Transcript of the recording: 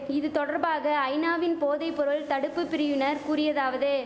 இது தொடர்பாக ஐநாவின் போதை பொருள் தடுப்பு பிரிவினர் கூறியதாவது